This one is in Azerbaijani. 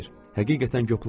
Həqiqətən, qoplanmıram.